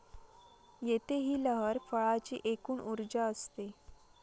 येथे ही लहर फळाची एकूण ऊर्जा असते.